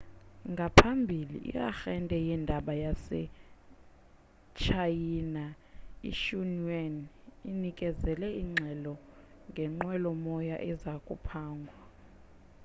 ngaphambilana i-arhente yeendaba yasetshayina ixinhua inikezele ingxelo ngenqwelomoya eza kuphangwa